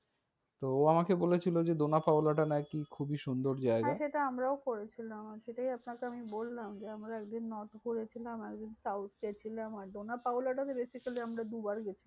তো ও আমাকে বলেছিলো যে ডোনা পাওলা টা নাকি খুবই সুন্দর জায়গা। হ্যাঁ সেটা আমরাও করেছিলাম সেটাই আপনাকে আমি বললাম। যে আমরা একদিন north ঘুরেছিলাম একদিন south এ ছিলাম। আর ডোনা পাওলা টা basically আমরা দুবার গেছি।